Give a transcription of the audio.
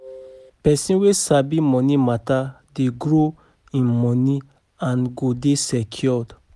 Pesin wey sabi moni mata dey grow im moni and go dey secure